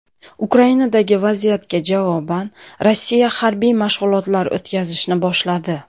Ukrainadagi vaziyatga javoban Rossiya harbiy mashg‘ulotlar o‘tkazishni boshladi.